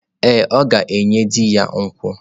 Ee, ọ ga-enye di ya nkwụ.